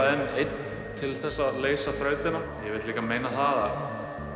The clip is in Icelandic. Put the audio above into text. en einn til að leysa þrautina ég vil líka meina að